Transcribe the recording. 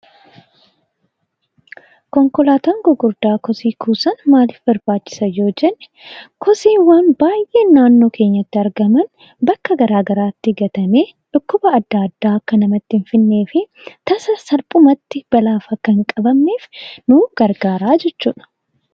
Konkolaattonni guguddaan kosii kuusan maalif barbaachisan yoo jenne, kosiiwwaan naannoo keenyatti gatamanii bakka garaa garaatti argaman, dhukkuba garaa garaa akka nutti hin fidnee fi tasa salphumatti balaaf akka hin qabamneef nu gargaara jechuudha